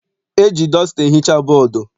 E ji dọsta ehicha bọdu.